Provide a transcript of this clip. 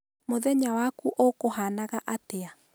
Mũthenya waku ũkũhanaga atĩa?